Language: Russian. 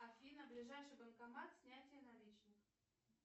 афина ближайший банкомат снятие наличных